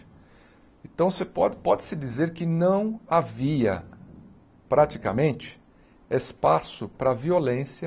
Então, você pode-se dizer que não havia, praticamente, espaço para a violência